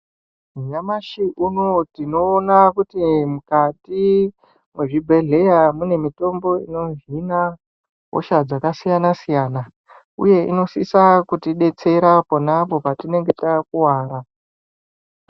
Nyamashi unouyu tinoona kuti mukati mwezvibhedhleya mune mitombo inohina hosha dzakasiyana-siyana, uye inosisa kutibetsera apo naapo patinenge takuvara.